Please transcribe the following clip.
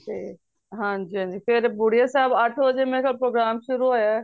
ਤੇ ਹਨਜੀ ਹਨਜੀ ਫੇਰ ਬੁੜੀਆਂ ਸਾਹਿਬ ਅੱਠ ਵਜੇ ਮੇਰੇ ਖ਼ਯਾਲ program ਸ਼ੁਰੂ ਹੋਇਆ